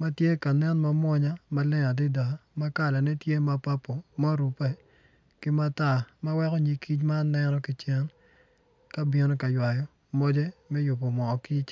ma tye ka nen ma munya maleng adida ma kalane tye ma papo ma orupe ki matar ma weko nyig kic man neno ki cen ka bimo ka ywayo moce me yupu moo kic